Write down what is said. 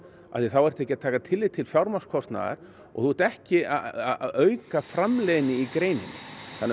því þá ertu ekki að taka tillit til fjármagnskostnaðar og þú ert ekki að auka framleiðni í greininni þannig að